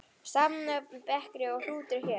Samnöfn bekri og hrútur hér.